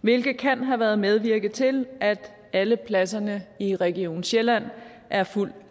hvilket kan have været medvirkende til at alle pladserne i region sjælland er fuldt